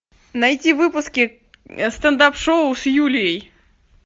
найти выпуски стендап шоу с юлией